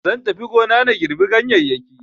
Zan tafi gona na girɓi ganyeyyaki